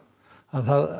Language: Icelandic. að